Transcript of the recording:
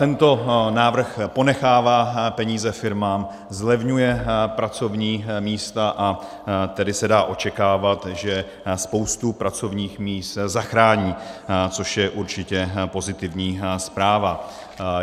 Tento návrh ponechává peníze firmám, zlevňuje pracovní místa, a tedy se dá očekávat, že spoustu pracovních míst zachrání, což je určitě pozitivní zpráva.